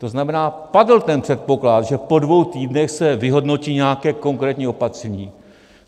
To znamená, padl ten předpoklad, že po dvou týdnech se vyhodnotí nějaké konkrétní opatření.